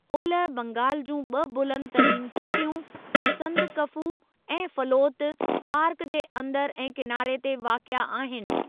ओलह बंगाल जूं ॿ बुलंद तरीन चोटियूं, संदकफू ऐं फलोत, पार्क जे अंदरि ऐं किनारे ते वाक़िए आहिनि।